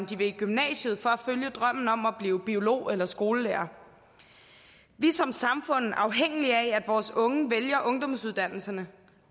de vil i gymnasiet for at følge drømmen om at blive biolog eller skolelærer vi er som samfund afhængige af at vores unge vælger ungdomsuddannelserne